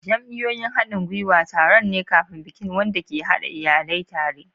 Jam'iyyun haɗin gwiwa taron ne kafin bikin aure wanda ke haɗa iyalai tare.